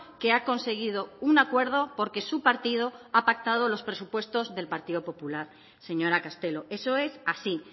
que ha conseguido un acuerdo porque su partido ha pactado los presupuestos del partido popular señora castelo eso es así